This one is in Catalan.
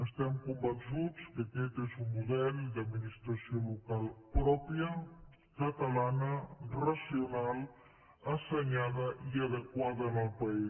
estem convençuts que aquest és un model d’administració local pròpia catalana racional assenyada i adequada al país